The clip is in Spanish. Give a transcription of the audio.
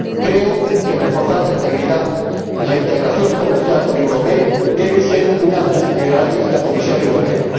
creo que reforzar la integridad y la integración comercial con Euromed debe ser una de prioridades de la Comisión Europea.